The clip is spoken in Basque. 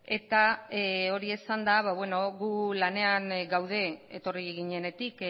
eta hori esanda gu lanean gaude etorri ginenetik